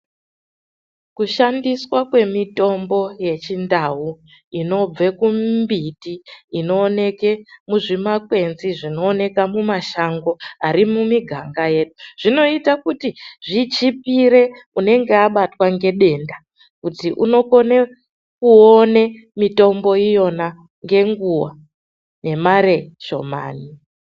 Kushandiswa kwemitombo yechindau inobve kumbiti inooneke muzvimakwenzi zvinoonekwa kumashango ari mumuganga yedu zvinoita kuti zvichipire anenge abatwa nedenda kuti unokone kuone mitombo iyona ngenguwa ngemare shomani.